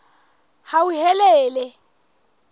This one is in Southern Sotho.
hauhelele